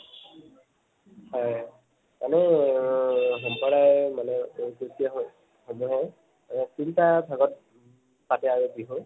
হয়, এনেই সম্প্ৰদায় মানে তিনিটা ভাগত পাতে আৰু বিহু